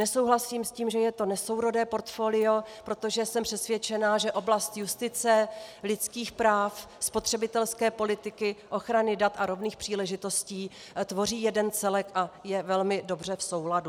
Nesouhlasím s tím, že je to nesourodé portfolio, protože jsem přesvědčena, že oblast justice, lidských práv, spotřebitelské politiky, ochrany dat a rovných příležitostí tvoří jeden celek a je velmi dobře v souladu.